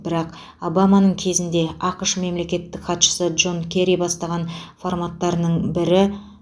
барак обаманың кезінде ақш мемлекеттік хатшысы джон керри бастаған форматтардың бірі